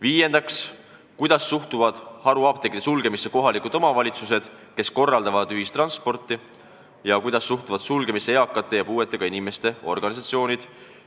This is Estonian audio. Viiendaks, kuidas suhtuvad haruapteekide sulgemisse kohalikud omavalitsused, kes korraldavad ühistranspordi, ja kuidas suhtuvad sulgemisse eakate ja puuetega inimeste organisatsioonid?